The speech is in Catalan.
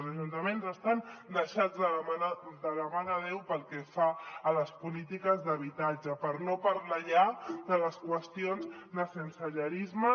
els ajuntaments estan deixats de la mà de déu pel que fa a les polítiques d’habitatge per no parlar ja de les qüestions de sensellarisme